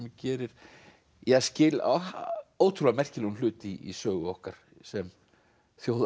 gerir skil ótrúlega merkilegum hlut í sögu okkar sem þjóðar